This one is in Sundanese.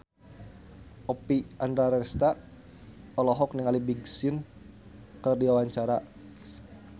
Oppie Andaresta olohok ningali Big Sean keur diwawancara